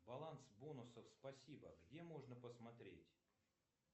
баланс бонусов спасибо где можно посмотреть